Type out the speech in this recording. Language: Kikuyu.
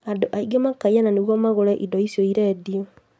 Angĩ makaiyana nĩguo magũre indo icio irendio